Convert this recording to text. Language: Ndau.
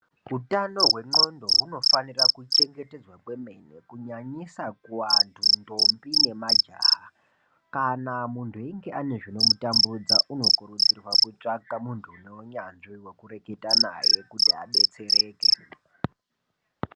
Utano hwenxondo hunofanirwa kuchengetedzwa kwemene kunyanyisa kuantu ndombi nemajaha kana muntu einge ane zvinomutambudza unokurudzirwa kutsvaka muntu uneunyanzvi wekureketa naye kuti abetsereke .